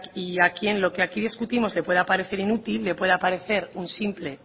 y a quien lo que aquí discutimos le pueda parecer inútil le pueda parecer un simple